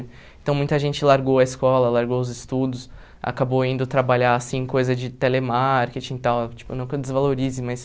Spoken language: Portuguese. Então, muita gente largou a escola, largou os estudos, acabou indo trabalhar, assim, coisa de telemarketing e tal, tipo, não que eu desvalorize, mas...